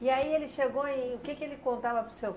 E aí ele chegou, e o que que ele contava para o senhor?